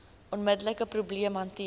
onmiddelike probleem hanteer